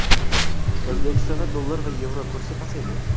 O‘zbekistonda dollar va yevro kursi pasaydi.